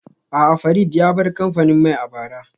A'a, Farid ya bar kamfanin mai a bara